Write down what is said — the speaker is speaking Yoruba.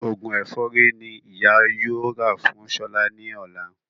Òògùn ẹ̀fọ́rí ní ìyá yóò rà fún Ṣọlá ní ọ̀la